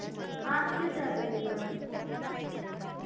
हा, तिथेच राहते ती पण